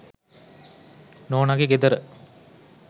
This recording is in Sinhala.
නෝනගෙ ගෙදර.